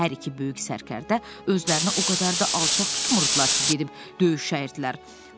Hər iki böyük sərkərdə özlərini o qədər də alçaq tutmurdular ki, gedib döyüş şəhidlər.